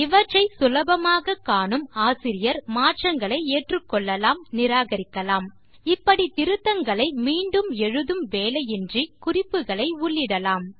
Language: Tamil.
இவற்றை சுலபமாக காணும் ஆசிரியர் மாற்றங்களை ஏற்றுக்கொள்ளலாம் நிராகரிக்கலாம் இப்படி திருத்தங்களை மீண்டும் எழுதும் வேலையின்றி குறிப்புகளை உள்ளிடலாம்